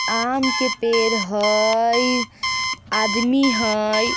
आम के पेड़ हेय आदमी हेय।